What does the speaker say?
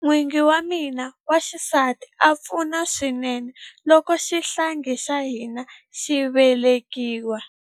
N'wingi wa mina wa xisati a pfuna swinene loko xihlangi xa hina xi velekiwa.